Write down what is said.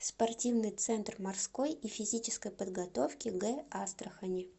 спортивный центр морской и физической подготовки г астрахани